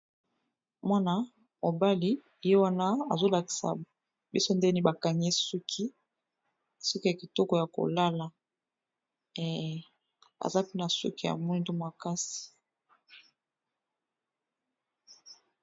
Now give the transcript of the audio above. Mwana mobali ye wana azo lakisa biso ndenge nini ba kangi ye suki, suki ya kitoko ya kolala aza mpe na suki ya mwindu makasi.